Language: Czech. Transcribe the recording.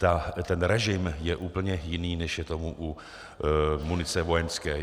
Ten režim je úplně jiný, než je tomu u munice vojenské.